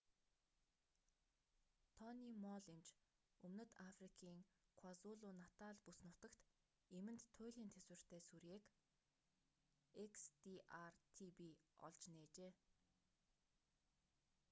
тони молл эмч өмнөд африкийн квазулу-натал бүс нутагт эмэнд туйлын тэсвэртэй сүрьеэг xdr-tb олж нээжээ